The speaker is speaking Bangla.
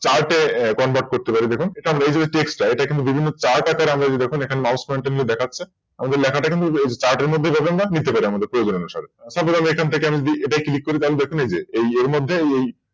Chart এ Convert করতে পারি দেখুন এই যে এখানে এই Text টা এটা কিন্তু বিভিন্ন Chart আকারের রয়েছে দেখুন। এখানে MousePointer দেখাচ্ছে আমাদের লেখাটা কিন্তু Chart এর মধ্যে লেখা যাবে প্রয়োজন অনুসারে তারপর আমরা এখান থেকে এটা Click করে এই যে এটা এই